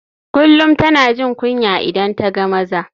Kullum tana jin kunya idan ta ga maza.